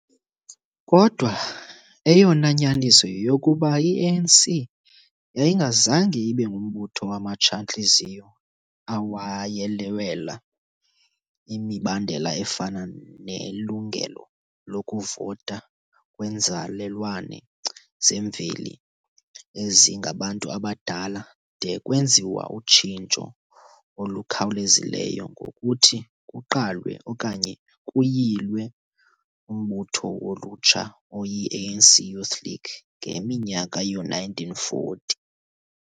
Kodwa, eyona nyaniso yeyokokuba, i-ANC yayingazange ibe ngumbutho wamatsha-ntliziyo awayelwela imibandela efana nelungelo lokuvota kwenzalelwane zemveli ezingabantu abadala de kwenziwa utshintsho olukhawulezileyo ngokuthi kuqalwe okanye kuyilwe umbutho wolutsha oyiANC Youth League ngeminyaka yoo-1940.